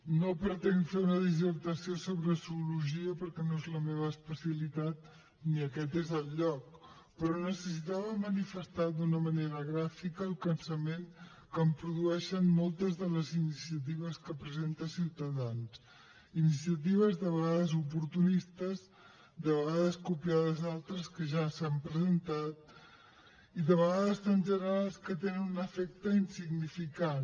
no pretenc fer una dissertació sobre zoologia perquè no és la meva especialitat ni aquest és el lloc però necessitava manifestar d’una manera gràfica el cansament que em produeixen moltes de les iniciatives que presenta ciutadans iniciatives de vegades oportunistes de vegades copiades d’altres que ja s’han presentat i de vegades tan generals que tenen un efecte insignificant